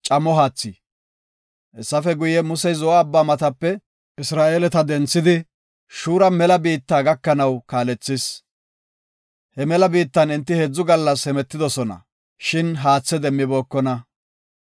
Hessafe guye, Musey Zo7o Abbaa matape Isra7eeleta denthidi Shuura mela biitta gakanaw kaalethis. He mela biittan enti heedzu gallas hemetidosona shin haathe demmibookona.